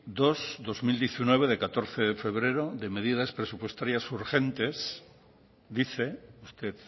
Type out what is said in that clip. dos barra dos mil diecinueve de catorce de febrero de medidas presupuestarias urgentes dice usted